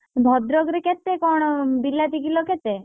ଭଦ୍ରକରେ କେତେ କଣ ବିଲାତି କିଲ କେତେ?